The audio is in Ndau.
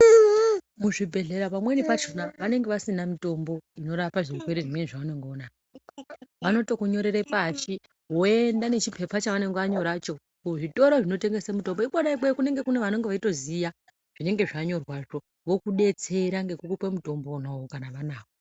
Muzvibhedhlera pamweni pachona vanenge vasina mitombo inorapa zvirwere zvimweni zvaunenge unazvo. Vanotokunyorere pashi woende nechipepa chavanenge vanyoracho muzvitoro zvinotengese mitombo. Ikona ikweyo kune vanenge veyitoziva zvinenge zvanyorwazvo vokudetsera nokukupe mutomboyo kana vanawo.